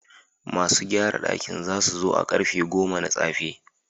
Masu gyarar dakin za su zo a karfe goma na tsafe.